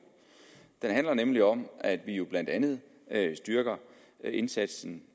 den handler nemlig om at vi jo blandt andet styrker indsatsen